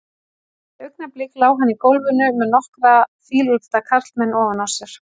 Eftir augnablik lá hann í gólfinu með nokkra fíleflda karlmenn ofan á sér.